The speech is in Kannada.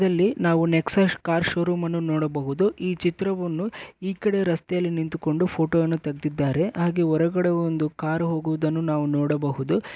ಈ ಚಿತ್ರದಲ್ಲಿ ನಾವು ನೆಕ್ಸಸ್ ಕಾರ್ ಷೋರೂಮ್ ಅನ್ನು ನೋಡಬಹುದು ಈ ಚಿತ್ರವನ್ನು ಹೊರಗಡೆ ನಿಂತು ಫೋಟೋ ತೆಗೆದಿದ್ದಾರೆ ಹಾಗೆ ಈ ಕಡೆ ಕಾರು ಹೋಗುವುದನ್ನುನೋಡಬಹುದು